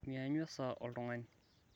mianyu esaa oltungani